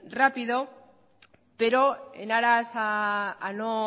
rápido pero en aras a no